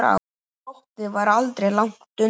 Glottið var aldrei langt undan.